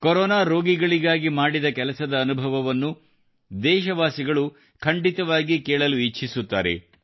corona ರೋಗಿಗಳಿಗಾಗಿ ಮಾಡಿದ ಕೆಲಸದ ಅನುಭವವನ್ನು ದೇಶವಾಸಿಗಳು ಖಂಡಿತವಾಗಿ ಕೇಳಲು ಇಚ್ಛಿಸುತ್ತಾರೆ